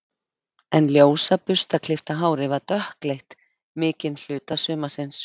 En ljósa burstaklippta hárið var dökkleitt mikinn hluta sumarsins.